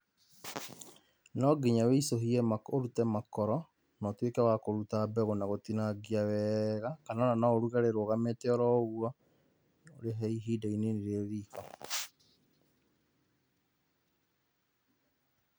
Nonginya ũicũhie ũrute makoro na ũtuĩke wa kũruta mbegũ na gũtinangia wega kana ona no ũruge rĩrũgamĩte o ũguo, ũrĩhe ihinda inini rĩ riko.